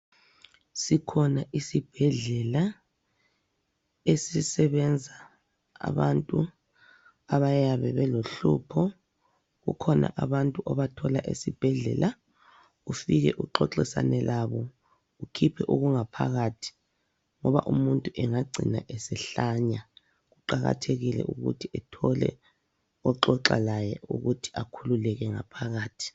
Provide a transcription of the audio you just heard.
Sikhona isibhedlela esisebenza abantu abayabe belohlupho kukhona abantu obathola esibhedlela ufike uxoxisane labo ukhiphe okungaphakathi ngoba umuntu engagcina esehlanya kuqakathekile ukuthi ethole oxoxa laye ukuthi akhululeke ngaphakathi.